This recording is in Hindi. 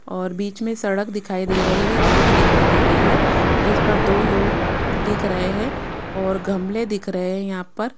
और बीच में सड़क दिखाई दे रही हैं रोड दिखाई दे रही हैं जिसपर दो लोग दिख रहे हैं और गमले दिख रहे हैं यहाँ पर --